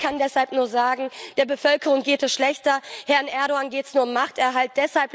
Ich kann deshalb nur sagen Der Bevölkerung geht es schlechter. Herrn Erdoğan geht es nur um Machterhalt.